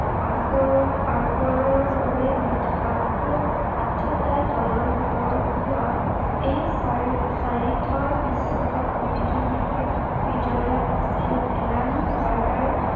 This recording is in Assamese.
আগবাৰৰ আগবাৰৰ দৰেই মুঠ আঠোটা দলৰ ভিতৰত হোৱাএই বিশ্বকাপ প্ৰতিযোগিতাৰ বিজয়া আছিল এলান বাৰ্ডাৰ